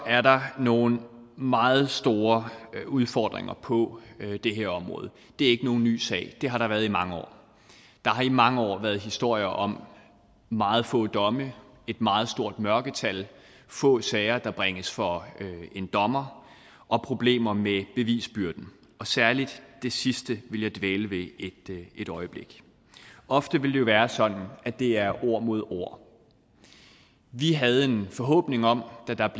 er der nogle meget store udfordringer på det her område det er ikke nogen ny sag det har der været i mange år der har i mange år været historier om meget få domme et meget stort mørketal få sager der bringes for en dommer og problemer med bevisbyrden særlig det sidste vil jeg dvæle ved et øjeblik ofte vil det jo være sådan at det er ord mod ord vi havde en forhåbning om da der